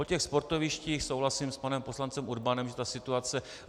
O těch sportovištích souhlasím s panem poslancem Urbanem, že ta situace...